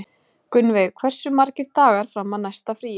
Gunnveig, hversu margir dagar fram að næsta fríi?